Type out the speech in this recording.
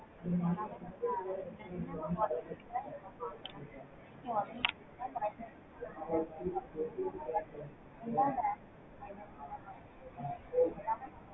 எல்லாமே நல்ல qualities ல பார்க்கலாம். so இதே மாதிரி தான் bi-directional அப்படின்னா அது எல்லா directional ளையும் so name two D three D எல்லாமே